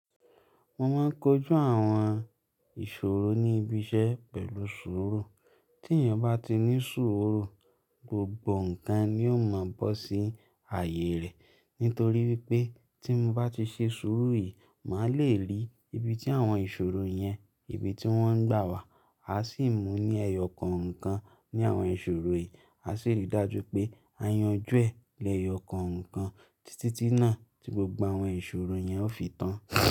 Mo máa ń kojú àwọn ìṣòro ní ibi iṣẹ́ pẹ̀lú sùúrù. Tí èèyàn bá ti ní sùúrù, gbogbo nǹkan ni ó máa bọ́ sí ààyè rẹ̀. Nítorí wípé tí mo bá ti ṣe sùúrù yìí, màá le ri ibi tí àwọn ìṣòro yẹn, ibi tí wọ́n ń gbà wà. A sì mú ní ẹyọ kọ̀ọ̀kan ní àwọn ìṣòro yìí. A sì rí i dájú pé a yanjú ẹ̀ lẹyọ kọ̀ọ̀kan títí tí náà tí gbogbo àwọn ìṣòro yẹn ó fi tán.